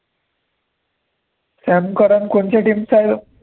Sam Karan कोणची team चा हयो